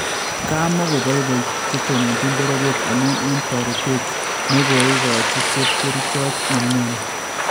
Komakoboyboy chetononchin bororyet amuun eng toreetet nokoikochi chepkerchot nemnyoni